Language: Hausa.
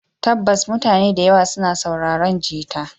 Tabbas mutane da yawa suna sauraron gita.